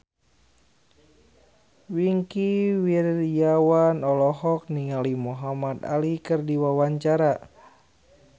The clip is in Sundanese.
Wingky Wiryawan olohok ningali Muhamad Ali keur diwawancara